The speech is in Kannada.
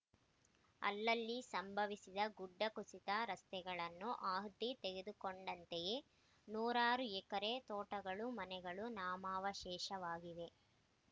ಅಲ್ಲಲ್ಲಿ ಸಂಭವಿಸಿದ ಗುಡ್ಡಕುಸಿತ ರಸ್ತೆಗಳನ್ನು ಆಹುತಿ ತೆಗೆದುಕೊಂಡಂತೆಯೇ ನೂರಾರು ಎಕರೆ ತೋಟಗಳು ಮನೆಗಳು ನಾಮಾವಶೇಷವಾಗಿವೆ